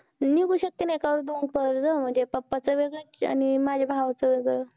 निघू शकतंय ना एका वेळी दोन कर्ज. म्हणजे papa चं वेगळं आणि माझ्या भावाचं वेगळं.